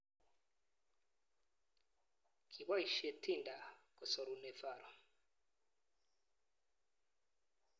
kipoishei Tinder kesorunei Faru